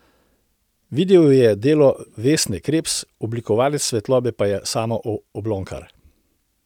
Video je delo Vesne Krebs, oblikovalec svetlobe pa je Samo Oblokar.